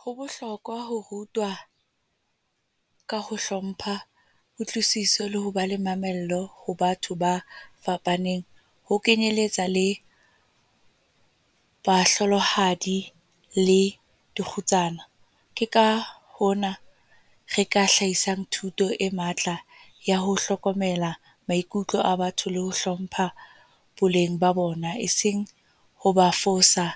Ho bohlokwa ho rutwa ka ho hlompha, kutlwisiso le ho ba le mamello ho batho ba fapaneng. Ho kenyeletsa le bahlolohadi le dikgutsana. Ke ka hona re ka hlahisang thuto e matla ya ho hlokomela maikutlo a batho le ho hlompha boleng ba bona. E seng hoba fosa